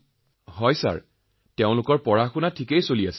হয় মহোদয় লৰাছোৱালীৰ পঢ়াশুনা ঠিকে চলি আছে